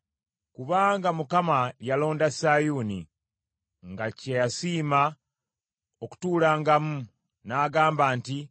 Kubanga Mukama yalonda Sayuuni, nga kye yasiima okutuulangamu, n’agamba nti: